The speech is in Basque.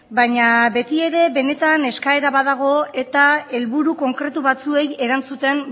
baina beti ere benetan eskaera badago eta helburu konkretu batzuei erantzuten